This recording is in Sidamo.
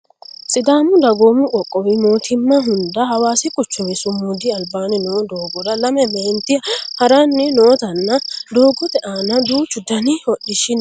sidaamu dagoomu qoqqowu mootimma hunda hawaasi quchumi sumudu albaanni noo doogora lame meenti haranni nootanna doogote aana duuchu dani hodhishshi no yaate